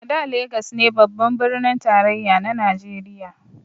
A da Legas ne babban birnin tarayya na najeriya